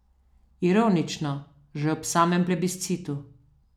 Ironično, že ob samem plebiscitu.